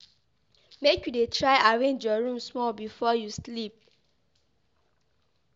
Make you dey try arrange your room small before you sleep.